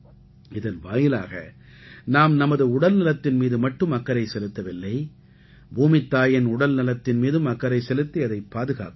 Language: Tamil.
இதன் வாயிலாக நாம் நமது உடல்நலத்தின் மீது மட்டும் அக்கறை செலுத்தவில்லை பூமித்தாயின் உடல்நலத்தின் மீதும் அக்கறை செலுத்தி அதைப் பாதுகாக்கிறோம்